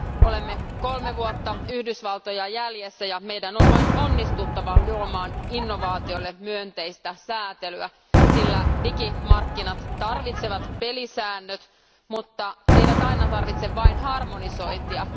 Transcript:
Olemme kolme vuotta Yhdysvaltoja jäljessä, ja meidän on vain onnistuttava luomaan innovaatioille myönteistä säätelyä, sillä digimarkkinat tarvitsevat pelisäännöt, mutta ne eivät aina vain tarvitse harmonisointia.